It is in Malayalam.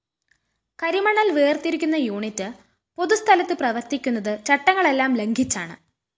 കരിമണല്‍ വേര്‍തിരിക്കുന്ന യൂണിറ്റ്‌ പൊതുസ്ഥലത്ത് പ്രവര്‍ത്തിക്കുന്നത് ചട്ടങ്ങളെല്ലാം ലംഘിച്ചാണ്